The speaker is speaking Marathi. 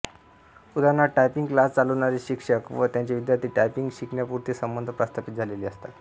उदा टायपिंग क्लास चालविणारे षिक्षक व त्यांचे विद्यार्थी टायपिंग षिकण्यापुरते संबंध प्रस्थापित झालेले असतात